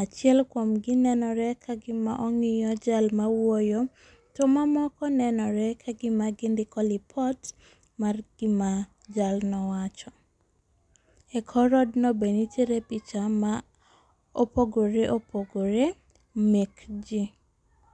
Achiel kuomgi nenore ka gima ong'iyo jal ma owuoyo to mamoko nenore ka gima gindiko lipot mar gima jalno wacho. E kor odno be nitiere picha ma opogore opogore mek ji.